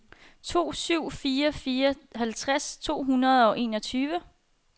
to syv fire fire halvtreds to hundrede og enogtyve